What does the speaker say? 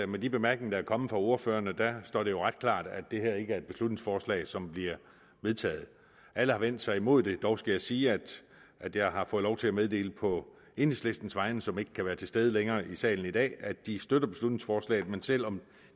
med de bemærkninger der er kommet fra ordførerne står det jo ret klart at det her ikke er et beslutningsforslag som bliver vedtaget alle har vendt sig imod det dog skal jeg sige at at jeg har fået lov til at meddele på enhedslistens vegne som ikke kan være til stede længere i salen i dag at de støtter beslutningsforslaget men selv om